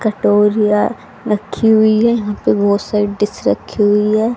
कटोरिया रखी हुई है यहां पे बहोत सारी डिश रखी हुई है।